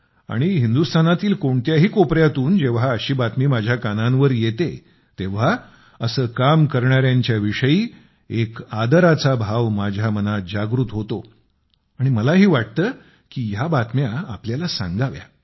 आणि हिंदुस्थानातील कोणत्याही कोपऱ्यातून जेव्हा अशी बातमी माझ्या कानांवर येते तेव्हा असे काम करणाऱ्यांच्या विषयी एक आदराचा भाव माझ्या मनात जागृत होतो आणि मलाही वाटतं की या बातम्या आपल्याला सांगाव्या